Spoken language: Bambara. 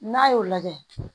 N'a y'o lajɛ